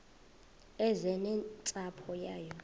eze nentsapho yayo